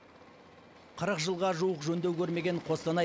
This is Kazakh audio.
қырық жылға жуық жөндеу көрмеген қостанай